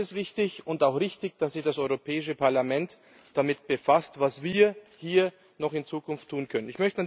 Deswegen ist es wichtig und auch richtig, dass sich das Europäische Parlament damit befasst, was wir hier noch in Zukunft tun können.